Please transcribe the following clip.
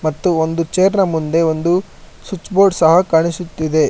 ಮತ್ತು ಒಂದು ಚೇರ್ ನ ಮುಂದೆ ಒಂದು ಸ್ವಿಚ್ ಬೋರ್ಡ್ ಸಹ ಕಾಣಿಸುತ್ತಿದೆ.